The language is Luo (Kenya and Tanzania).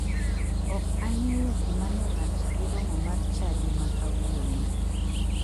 Ok ang'eyo gima ne rach gi romo mar chadi ma kawuono.